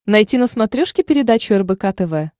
найти на смотрешке передачу рбк тв